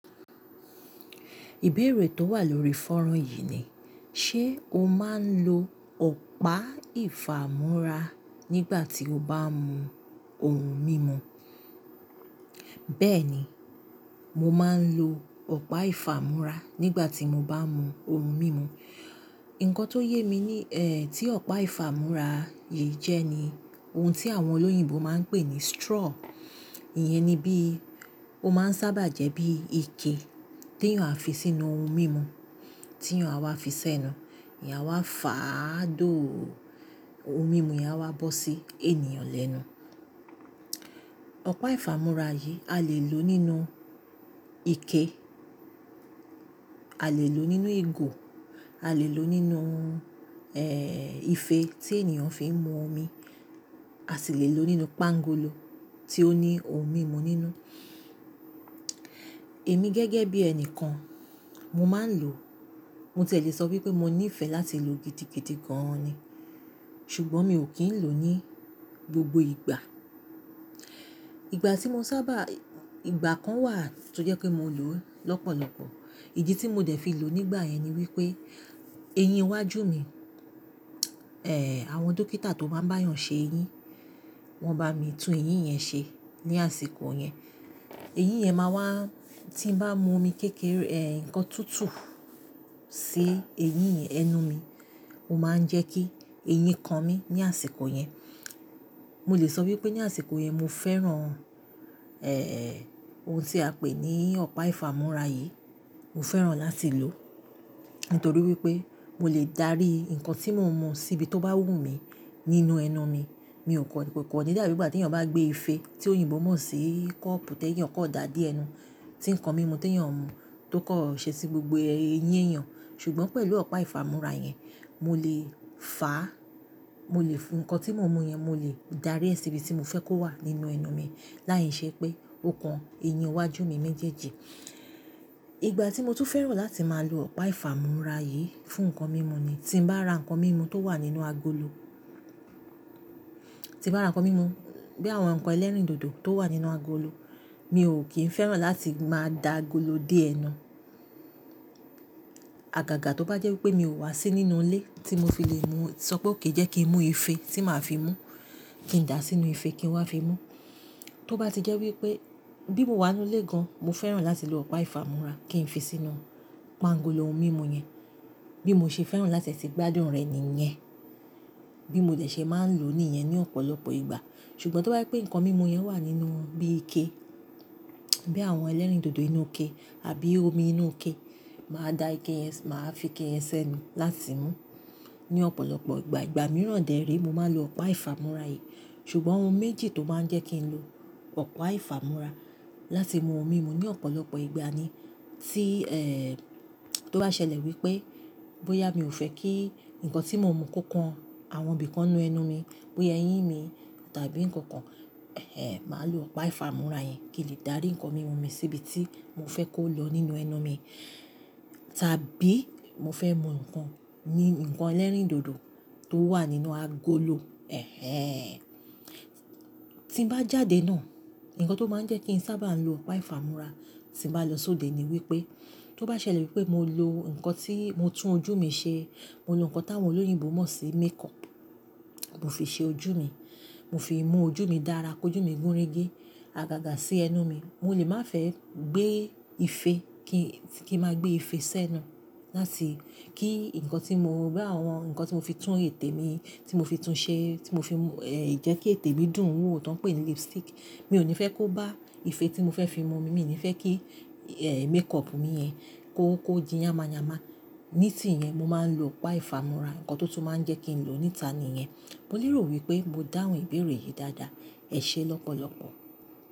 Ìbéèrè tó wà lórí fọ́nrọ̀n yìí ni, ṣe o máa ń lo ọ̀pá ìfámorá nígbà tí o bá ń mu ohun mímu? Bẹ́ẹ̀ ni, mo máa ń lo ọ̀pá ìfámorá nígbà tí mo bá ń mu ohun mímu. Ǹkan tó yé mi ní, eh, tí ọ̀pá ìfámorá yìí jẹ́ ni ohun tí àwọn olóyìnbo máa ń pè ní straw. Iyẹn ni bí ó máa ń sábà jẹ́ bí ike tí èèyàn á fi sínú ohun mímu tí èèyàn á wá fi sẹ́nu. Èèyàn á wá fà á dóò o ohun mímu, yẹn á wá bọ́ sí ènìyàn lẹ́nu. Ọ̀pá ìfámúrá yìí a lè lò nínú ike, a lè lò nínú ìgò, a lè lò nínú, eh, ìfe tí ènìyàn fi ń mu omi, a sì lè lò nínú pángolo tí ó ní ohun mímu nínú. Èmi gẹ́gẹ́ bí ẹni kan, mo máa ń lò ó. Mo sì lè sọ wípé mo nífẹ̀ẹ́ láti lò ó gidi gidigidi gan-an ni. Ṣùgbọ́n mi ò kí ń lò ó ní gbogbo ìgbà. Ìgbà tí mo sábà-- ìgbà kan wà tó jẹ́ pé mo lò ó lọ́pọ̀lọpọ̀. Ìdí tí mo dẹ̀ fi lò ó nígbà yẹn ni wípé eyín iwájú mi, eh, àwọn dókítà tó maa bá ń bá èèyàn ṣe eyín, wọ́n bá mi tún eyín yẹn ṣe ní àsìkò yẹn. Eyín yẹn máa wá, tí ń bá mu omi kékeré, eh, ǹkan tútù sí eyín yen- ẹnu mi, ó máa ń jẹ́ kí eyín kan mí ní àsìkò yẹn. Mo lè sọ wípé ní àsìkò yẹn mo fẹ́ràn, eh, ohun tí a pè ní ọ̀pá ìfámúrá yìí. Mo fẹ́ràn láti lò ó. Nítorí wípé mo lè dárí ǹkan tí mo ń mu sí ibi tó bá wù mí nínú ẹnu mi. Mi ò kan ko kan ni dàbí ìgbà tí èèyàn bá gbé ìfe tí òyìnbó mọ̀ sí kọ́ọ̀pù, tẹ́lẹ̀ èèyàn kọ̀ dáa dé ẹnu. Tí ǹkan mímu tí èèyàn ń mu tó kan ṣẹ́ sí gbogbo eyín èèyàn. Ṣùgbọ́n pẹ̀lú ọ̀pá ìfámúrá yẹn, mo lè fà á, mo lè fún ǹkan tí mo ń mu yẹn, mo lè dárí ẹ sí ibi tí mo fẹ́ kó wà nínú ẹnu mi láì ṣe pé ó kan eyín iwájú mi méjèèjì. Ìgbà tí mo tún fẹ́ràn láti máa lo ọ̀pá ìfámúrá yìí fún ǹkan mímu ni tí mo bá ra ǹkan mímu tó wà nínú agolo. Tí ń bá ra ǹkan mímu, bí àwọn ǹkan ẹlẹ́rìndòdò tó wà nínú agolo, mi ò kí ń fẹ́ràn láti máa da agolo dé ẹnu. Àgàgà tó bá jẹ́ wípé mi ò wá sí nínú ilé tí mo fi lè mu, sọ pé ó kìí jẹ́ kí ń mu ìfe tí màá fi mú, kí ń dà á sínú ìfe kí n wá fi mú. Tó bá ti jẹ́ wípé bí mo wà nínú ilé gan, mo fẹ́ràn láti lo ọ̀pá ìfámúrá kí ń fi sínú pángolo ohun mímu yẹn. Bí mo ṣe fẹ́ràn láti e ti gbádùn rẹ ni ìyẹn. Bí mo dẹ̀ ṣe máa ń lò ó ní ìyẹn ní ọ̀pọ̀lọpọ̀ ìgbà. Ṣùgbọ́n tó bá je pé ǹkan mímu yẹn wà nínú bí ike, bí àwọn ẹlẹ́rìndòdò inú ike àbí omi inú ike, màá da ike yẹn s-- màá fi ike yẹn sẹ́nu láti mú. Ní ọ̀pọ̀lọpọ̀ ìgbà, ìgbà mìíràn dè re mo máa ń lo ọ̀pá ìfámúrá yìí. Ṣùgbọ́n ohun méjì tó máa ń jẹ́ kí ń lo ọ̀pá ìfámúrá láti mu ohun mímu ní ọ̀pọ̀lọpọ̀ ìgbà ni tí, eh, tó bá ṣẹlẹ̀ wípé bóyá mi ò fẹ́ kí ǹkan tí mo ń mu kó kan àwọn ibi kan nínú ẹnu mi, bóyá eyín mi tàbí ǹkan kan, eh, màá lo ọ̀pá ìfámúrá yẹn kí lè dárí ǹkan mímu mi sí ibi tí mo fẹ́ kó lọ nínú ẹnu mi. Tàbí mo fẹ́ mu ǹkan ní ǹkan ẹlẹ́rìndòdò tó wà nínú agolo. Ẹ̀he. Tí ń ba jáde náà, ǹkan tó máa ń jẹ́ kí ń sábà lo ọ̀pá ìfámúrá tí bá lọ sóde ni wípé tó bá ṣẹlẹ̀ wípé mo lo ǹkan tí mo tún ojú mi ṣe, mo lo ǹkan tí àwọn olóyìnbó mọ̀ sí makeup, mo fi ṣe ojú mi, mo fi mú ojú mi dára ki ojú mi gúnrégé, àgàgà sí ẹnu mi, mo lè má fẹ́ gbé ìfe kí, kí màá gbé ìfe sẹ́nu láti kí ǹkan tí mo, bí àwọn ǹkan tí mo fi tún ètè mi, tí mo fi tún ṣe, tí mo fi mú, eh, jẹ́ kí ètè mi dùn wò tí won ń pè ní lipstick, mi ò ní fẹ́ kó bá ìfe tí mo fẹ́ fi mu omi, mi ò ní fẹ́ kí, eh, makeup mi yẹn kó, kó di yánmáyámá. Ní tì yẹn mo máa ń lo ọ̀pá ìfámúrá, nǹkan to tun máa ń jẹ́ kí ń lo níta ni ìyẹn. Mo lérò wípé mo dáhùn ìbéèrè yìí dáadáa. Ẹ̀ṣẹ́ lọ́pọ̀lọpọ̀.